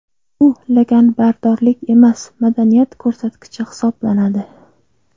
Bu laganbardorlik emas, madaniyat ko‘rsatkichi hisoblanadi.